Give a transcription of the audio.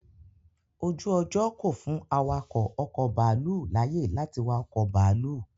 Ojú ọjọ́ kò fún awakọ̀ ọkọ̀ bàálù láyé lati wa ọkọ bàálù